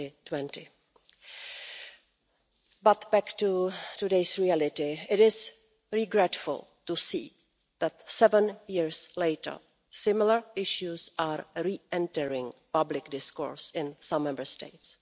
2020. But back to today's reality. It is regrettable to see that, seven years later, similar issues are re entering public discourse in some Member States.